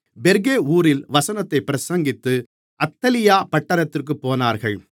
பெர்கே ஊரில் வசனத்தைப் பிரசங்கித்து அத்தலியா பட்டணத்திற்குப் போனார்கள்